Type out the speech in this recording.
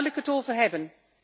Daar wil ik het over hebben.